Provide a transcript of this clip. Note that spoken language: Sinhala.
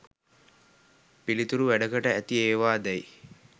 පිළිතුරු වැඩකට ඇති ඒවා දැයි